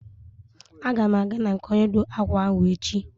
A ga m aga na nke onye ọ dụụ akwa ahụ echi.